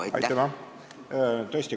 Aitüma!